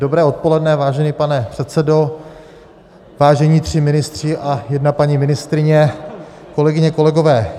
Dobré odpoledne, vážený pane předsedo, vážení tři ministři a jedna paní ministryně, kolegyně, kolegové.